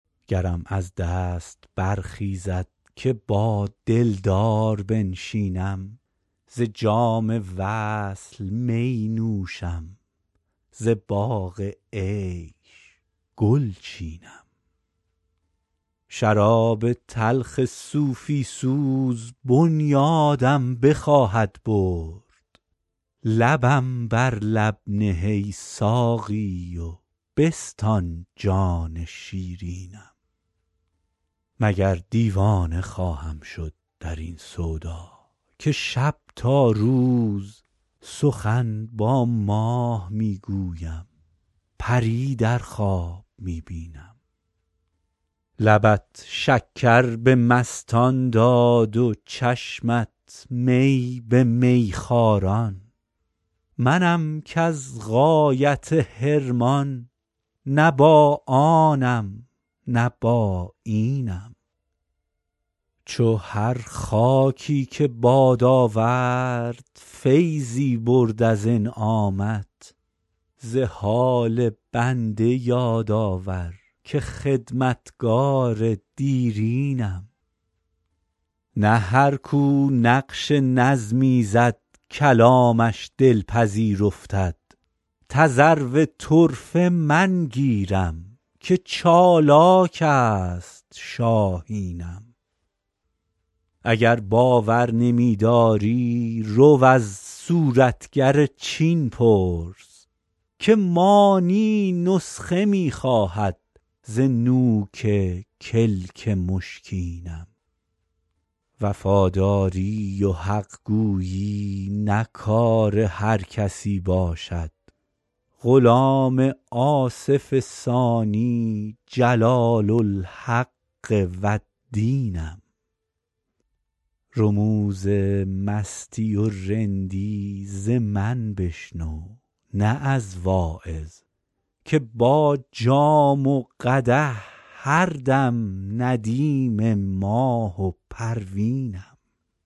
گرم از دست برخیزد که با دلدار بنشینم ز جام وصل می نوشم ز باغ عیش گل چینم شراب تلخ صوفی سوز بنیادم بخواهد برد لبم بر لب نه ای ساقی و بستان جان شیرینم مگر دیوانه خواهم شد در این سودا که شب تا روز سخن با ماه می گویم پری در خواب می بینم لبت شکر به مستان داد و چشمت می به میخواران منم کز غایت حرمان نه با آنم نه با اینم چو هر خاکی که باد آورد فیضی برد از انعامت ز حال بنده یاد آور که خدمتگار دیرینم نه هر کو نقش نظمی زد کلامش دلپذیر افتد تذرو طرفه من گیرم که چالاک است شاهینم اگر باور نمی داری رو از صورتگر چین پرس که مانی نسخه می خواهد ز نوک کلک مشکینم وفاداری و حق گویی نه کار هر کسی باشد غلام آصف ثانی جلال الحق و الدینم رموز مستی و رندی ز من بشنو نه از واعظ که با جام و قدح هر دم ندیم ماه و پروینم